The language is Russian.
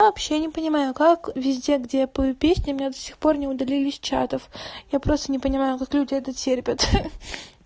вообще не понимаю как везде где я пою песню меня до сих пор не удалили с чатов я просто не понимаю как люди это терпят ха-ха